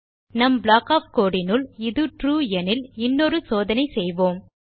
நம் block of the code இனுள் இது ட்ரூ எனில் இன்னொரு சோதனை செய்வோம்